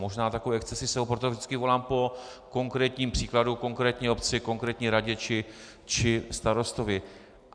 Možná takové excesy jsou, proto vždycky volám po konkrétním příkladu, konkrétní obci, konkrétní radě či starostovi.